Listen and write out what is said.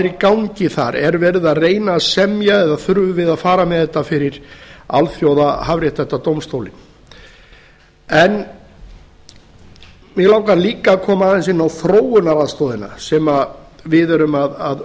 í gangi þar er verið að reyna að semja eða þurfum við að fara með þetta fyrir alþjóðhafréttindadómstólinn mig langar líka að koma aðeins inn á þróunaraðstoðina sem við erum að